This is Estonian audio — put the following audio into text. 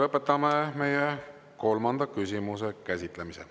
Lõpetame meie kolmanda küsimuse käsitlemise.